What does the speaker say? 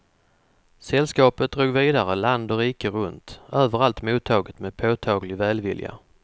Sällskapet drog vidare land och rike runt, överallt mottaget med påtaglig välvilja.